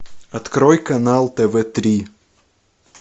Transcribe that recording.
открой канал тв три